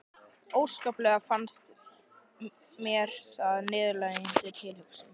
Óskaplega fannst mér það niðurlægjandi tilhugsun.